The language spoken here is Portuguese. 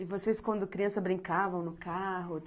E vocês, quando criança, brincavam no carro?